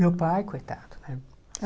Meu pai, coitado, né?